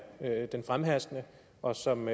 den fremherskende og som